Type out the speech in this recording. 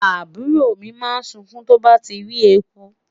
àbúrò mi ma sunkun tó bà rí ẹkú